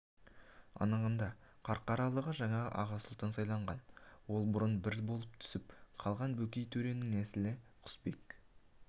анығында қарқаралыға жаңа аға сұлтан сайланған ол бұрын бір болып түсіп қалған бөкей төренің нәсілі құсбек